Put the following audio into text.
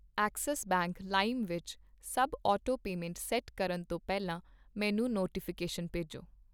Axis bank ਲਾਇਮ ਵਿੱਚ ਸਭ ਆਟੋਪੇਮੈਂਟਸ ਸੈੱਟ ਕਰਨ ਤੋਂ ਪਹਿਲਾਂ ਮੈਨੂੰ ਨੋਟੀਫਿਕੇਸ਼ਨ ਭੇਜੋਂ